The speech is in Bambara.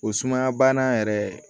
O sumaya bana yɛrɛ